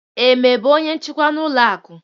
Eme bụ onye njikwa n'ụlọ akụ.